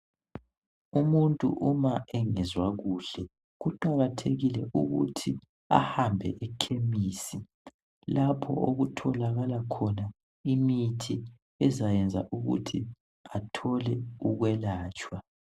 Umuntu uma engezwa kuhle kuqakathekile ukuthi ahambe ekhemisi lapho okutholakala khona imithi ezayenza ukuthi athole ukwelatshwa.